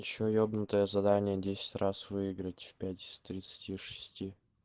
ещё ебнутое задание десять раз выиграть в пять из тридцати шести